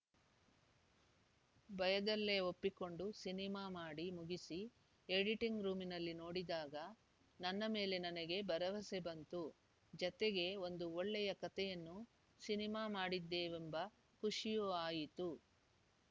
ಭಯದಲ್ಲೇ ಒಪ್ಪಿಕೊಂಡು ಸಿನಿಮಾ ಮಾಡಿ ಮುಗಿಸಿ ಎಡಿಟಿಂಗ್‌ ರೂಮ್‌ನಲ್ಲಿ ನೋಡಿದಾಗ ನನ್ನ ಮೇಲೆ ನನಗೆ ಭರವಸೆ ಬಂತು ಜತೆಗೆ ಒಂದು ಒಳ್ಳೆಯ ಕತೆಯನ್ನು ಸಿನಿಮಾ ಮಾಡಿದ್ದೇವೆಂಬ ಖುಷಿಯೂ ಆಯಿತು